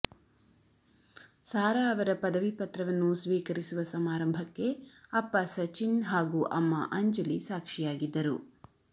ಸಾರಾ ಅವರ ಪದವಿ ಪತ್ರವನ್ನು ಸ್ವೀಕರಿಸುವ ಸಮಾರಂಭಕ್ಕೆ ಅಪ್ಪ ಸಚಿನ್ ಹಾಗೂ ಅಮ್ಮ ಅಂಜಲಿ ಸಾಕ್ಷಿಯಾಗಿದ್ದರು